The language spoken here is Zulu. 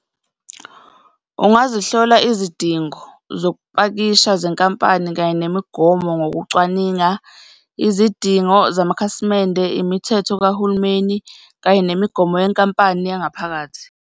Ungazihlola izidingo zokupakisha zenkampani kanye nemigomo ngokucwaninga izidingo zamakhasimende, imithetho kahulumeni kanye nemigomo yenkampani yangaphakathi.